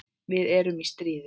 Við erum í stríði.